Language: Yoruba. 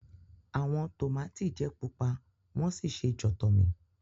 Awọn tomati jẹ pupa won si se jotomi.